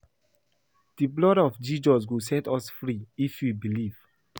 The blood of Jesus go set us free if we believe